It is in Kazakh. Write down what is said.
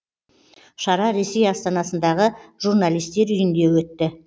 шара ресей астанасындағы журналистер үйінде өтті